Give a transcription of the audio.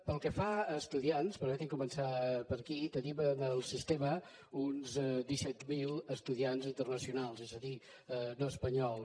pel que fa a estudiants permeti’m començar per aquí tenim en el sistema uns disset mil estudiants internacionals és a dir no espanyols